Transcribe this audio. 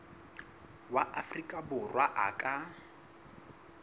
wa afrika borwa a ka